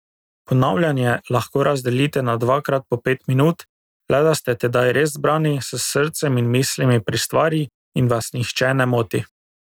Ponavljanje lahko razdelite na dvakrat po pet minut, le da ste tedaj res zbrani, s srcem in mislimi pri stvari, in vas nihče ne moti.